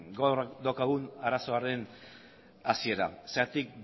gaur daukagun arazoaren hasiera zergatik